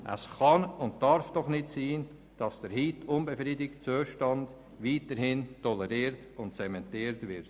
Es kann und darf doch nicht sein, dass der heute unbefriedigende Zustand weiterhin toleriert und zementiert wird.